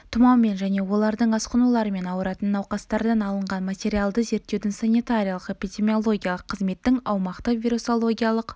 тұмаумен және олардың асқынуларымен ауыратын науқастардан алынған материалды зерттеуді санитариялық-эпидемиологиялық қызметтің аумақтық вирусологиялық